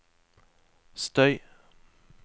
støy